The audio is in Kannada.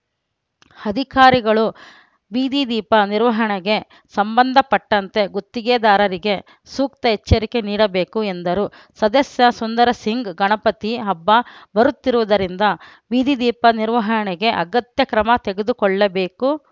ಅಧಿಕಾರಿಗಳು ಬೀದಿ ದೀಪ ನಿರ್ವಹಣೆಗೆ ಸಂಬಂಧಪಟ್ಟಂತೆ ಗುತ್ತಿಗೆದಾರರಿಗೆ ಸೂಕ್ತ ಎಚ್ಚರಿಕೆ ನೀಡಬೇಕು ಎಂದರು ಸದಸ್ಯ ಸುಂದರಸಿಂಗ್‌ ಗಣಪತಿ ಹಬ್ಬ ಬರುತ್ತಿರುವುದರಿಂದ ಬೀದಿದೀಪ ನಿರ್ವಹಣೆಗೆ ಅಗತ್ಯ ಕ್ರಮ ತೆಗೆದುಕೊಳ್ಳಬೇಕು